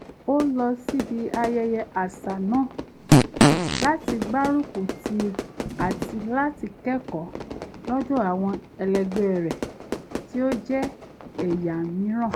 ó lọ síbi ayẹyẹ àṣà náà láti gbárùkùtì àti láti kẹ́kọ̀ọ́ lọ́dọ̀ àwọn ẹlẹgbẹ́ rẹ̀ tí ó jẹ́ ẹ̀yà míìràn